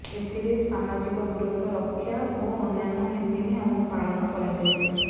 ଏଥିରେ ସାମାଜିକ ଦୂରତ୍ୱ ରକ୍ଷା ଓ ଅନ୍ୟାନ୍ୟ ନୀତିନିୟମ ପାଳନ କରାଯାଇଥିଲା